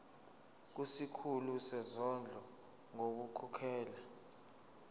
kusikhulu sezondlo ngokukhokhela